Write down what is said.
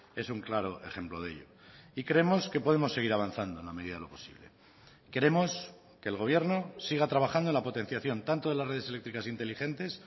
es un claro ejemplo de ello y creemos que podemos seguir avanzando en la medida de lo posible queremos que el gobierno siga trabajando en la potenciación tanto de las redes eléctricas inteligentes